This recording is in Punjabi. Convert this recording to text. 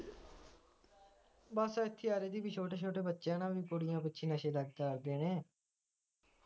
ਬਸ ਛੋਟੇ ਛੋਟੇ ਬੱਚੇ ਕੁੜੀਆਂ ਪਿੱਛੇ ਨਸ਼ੇ ਕਰਦੇ ਨੇ